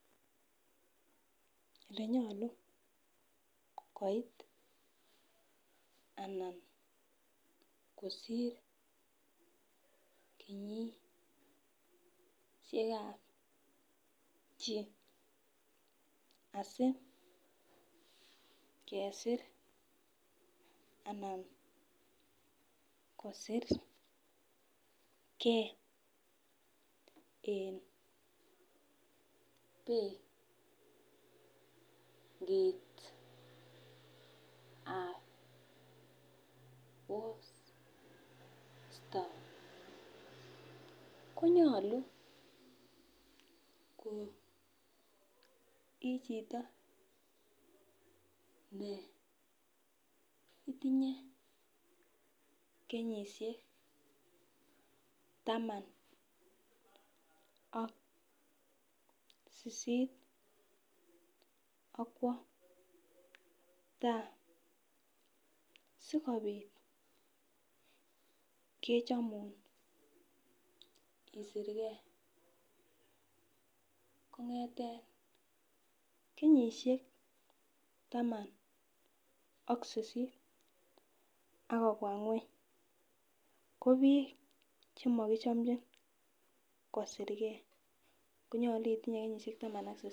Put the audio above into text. Elenyolu koit anan kosir kenyisiekab chii asikesir anan kosirge en benkitab posta konyolu en chito neitinye kenyisiek taman ak sisit akwo taa sikobit kechomun isirkee kong'eten taman ak sisit akobwa ngweng ko biik chemokichomnjin kosirgee konyolu itinye kenyisiek taman ak sisit.